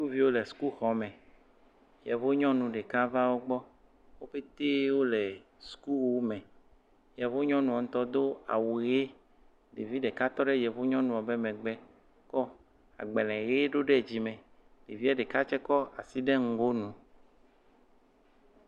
Sukuviwo le sukuxɔme. Yevunyɔnu ɖeka va wo gbɔ. Wo pɛte wole sukuwu me. Yevunyɔnua ŋutɔ do awu ʋi. Ɖevi ɖeka tɔ ɖe yevunyɔnua be megbe. Kɔ agbale ʋi do ɖe dzime. Ɖevia ɖeka tse kɔ asi do ɖe ŋgonu.